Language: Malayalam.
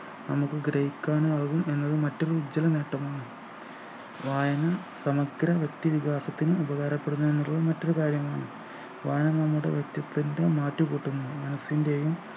അനുഗ്രഹിക്കാനാകും എന്നത് മറ്റും ഉജ്ജ്വല നേട്ടമാണ് വായന സമഗ്ര വ്യക്തി വികാസത്തിന് ഉപകാരപ്പെടുന്നത് ന്നുള്ള മറ്റൊരു കാര്യമാണ് വായന നമ്മുടെ വ്യക്തിത്വത്തിൻ്റെ മാറ്റു കൂട്ടുന്നു മനസ്സിൻ്റെയും